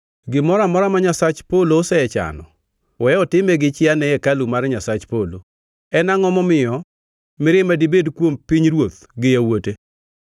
Gimoro amora ma Nyasach polo osechano, we otime gi chia ne hekalu mar Nyasach polo. En angʼo momiyo mirima dibed kuom pinyruoth gi yawuote?